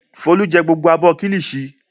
Folú jẹ gbogbo abọ́ kíllìṣi?